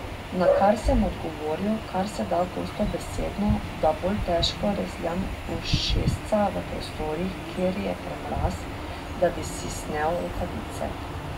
Na kar sem odgovoril, kar se da gostobesedno, da bolj težko rezljam ušesca v prostorih, kjer je premraz, da bi si snel rokavice.